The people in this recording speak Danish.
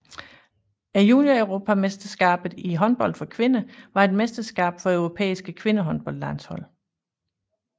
Junioreuropamesterskabet i håndbold for kvinder var et mesterskab for europæiske kvindehåndboldlandshold